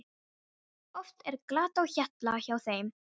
Oft er glatt á hjalla hjá þeim.